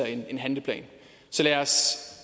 en handleplan så lad os